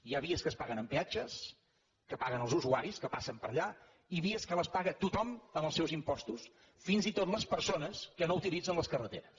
hi ha vies que es paguen amb peatges que paguen els usuaris que passen per allà i vies que les paga tothom amb els seus impostos fins i tot les persones que no utilitzen les carreteres